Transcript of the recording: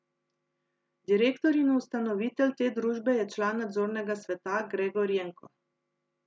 Direktor in ustanovitelj te družbe je član nadzornega sveta Gregor Jenko.